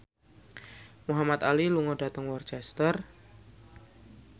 Muhamad Ali lunga dhateng Worcester